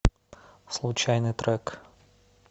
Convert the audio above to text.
случайный трек